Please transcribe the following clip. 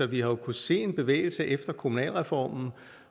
vi har kunnet se en bevægelse efter kommunalreformen